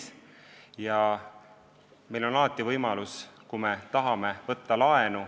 Kui me tahame, on meil alati võimalus laenu võtta.